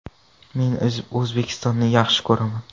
Men O‘zbekistonni juda yaxshi ko‘raman.